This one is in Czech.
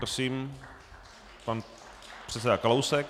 Prosím, pan předseda Kalousek.